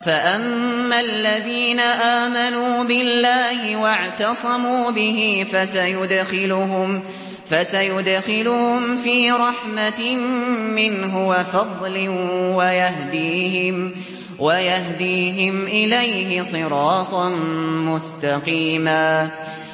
فَأَمَّا الَّذِينَ آمَنُوا بِاللَّهِ وَاعْتَصَمُوا بِهِ فَسَيُدْخِلُهُمْ فِي رَحْمَةٍ مِّنْهُ وَفَضْلٍ وَيَهْدِيهِمْ إِلَيْهِ صِرَاطًا مُّسْتَقِيمًا